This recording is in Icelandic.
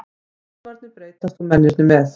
Tímarnir breytast og mennirnir með.